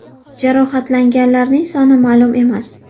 Jarohatlanganlar soni ma’lum emas.